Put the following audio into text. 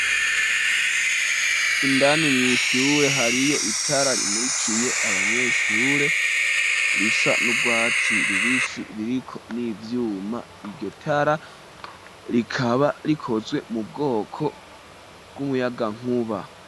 Indani mwishure hariyo itara rimurikiye abanyeshure risa n'urwatsi rubisi ririko n'ivyuma iryo tara rikaba rikozwe mu bwoko bw'umuyaga nkuba.